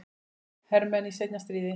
hermenn í seinna stríði.